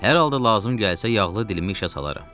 Hər halda lazım gəlsə, yağlı dilimi işə salaram.